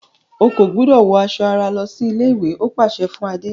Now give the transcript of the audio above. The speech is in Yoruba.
O kò gbúdọ̀ wọ aṣọ ara lọsí ilé-ìwé! ó pàsẹ fún Adé.